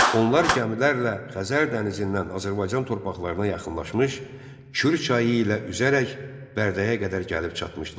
Onlar gəmilərlə Xəzər dənizindən Azərbaycan torpaqlarına yaxınlaşmış, Kür çayı ilə üzərək Bərdəyə qədər gəlib çatmışdılar.